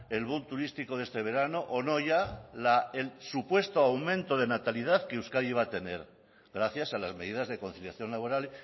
el boom turístico de este verano o no ya la el supuesto aumento de natalidad que euskadi iba a tener gracias a las medidas de conciliación laboral